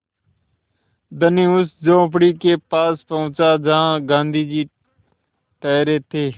धनी उस झोंपड़ी के पास पहुँचा जहाँ गाँधी जी ठहरे थे